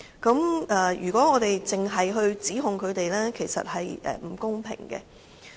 所以，如果我們只向他們作出指控，這便是不公平的。